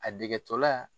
A degetɔla